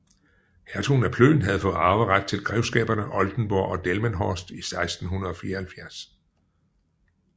Hertugen af Plön havde fået arveret til grevskaberne Oldenburg og Delmenhorst i 1674